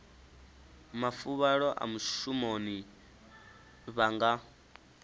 mafuvhalo a mushumoni vha nga